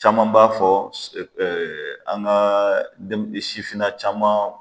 Caman b'a fɔ an ka denmi sifinna caman